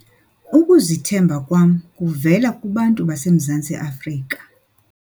Ukuzithemba kwam kuvela kubantu baseMzantsi Afrika.